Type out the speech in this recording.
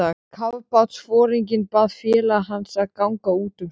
Kafbátsforinginn bað félaga hans að ganga út um stund.